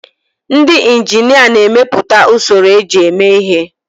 Ndị injinia na-emepụta usoro eji eme ihe.